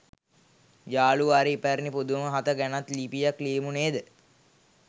යාළුවා අර ඉපැරණි පුදුම හත ගැනත් ලිපියක් ලියමු නේද?